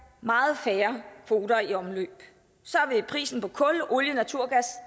meget færre kvoter i omløb så vil prisen på kul olie og naturgas